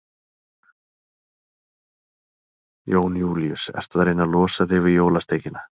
Jón Júlíus: Ertu að reyna að losa þig við jólasteikina?